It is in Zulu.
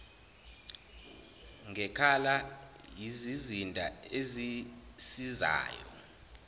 ngekhala yizizinda ezisizayo